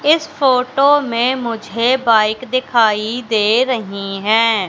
इस फोटो में मुझे बाइक दिखाई दे रही है।